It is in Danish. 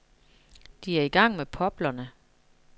De er i gang med poplerne.